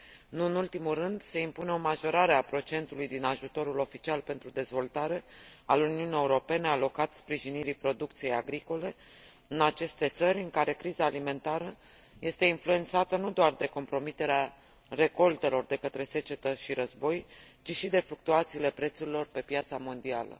Nu în ultimul rând, se impune o majorare a procentului din ajutorul oficial pentru dezvoltare al Uniunii Europene alocat sprijinirii producției agricole în aceste țări, în care criza alimentară este influențată nu doar de compromiterea recoltelor de către secetă și război, ci și de fluctuațiile prețurilor pe piața mondială.